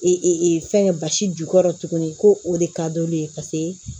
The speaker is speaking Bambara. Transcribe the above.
fɛngɛ basi jukɔrɔ tuguni ko o de ka d'olu ye paseke